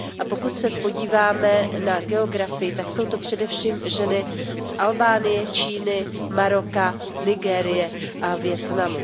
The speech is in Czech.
Pokud se podíváme na geografii, tak jsou to především ženy z Albánie, Číny, Maroka, Nigérie a Vietnamu.